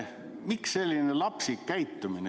Miks selline lapsik käitumine?